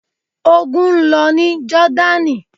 Ogun ń lọ ní Jọ́dánì.